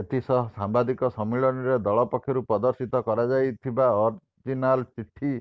ଏଥିସହ ସାମ୍ବାଦିକ ସମ୍ମିଳନୀରେ ଦଳ ପକ୍ଷରୁ ପ୍ରଦର୍ଶିତ କରାଯାଇଥିବା ଅରିଜିନାଲ୍ ଚିଠି